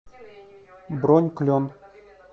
бронь клен